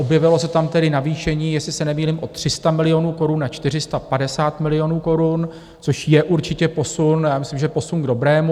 Objevilo se tam tedy navýšení, jestli se nemýlím o 300 milionů korun na 450 milionů korun, což je určitě posun, a myslím, že posun k dobrému.